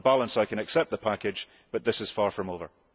On balance I can accept the package, but this is far from over.